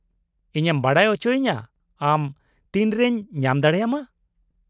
-ᱤᱧᱮᱢ ᱵᱟᱰᱟᱭ ᱚᱪᱚᱭᱤᱧᱟ ᱟᱢ ᱛᱤᱱᱨᱮᱧ ᱧᱟᱢ ᱫᱟᱲᱮᱭᱟᱢᱟ ᱾